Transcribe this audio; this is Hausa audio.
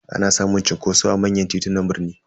Ana samun cunkoso a manyan titunan birni.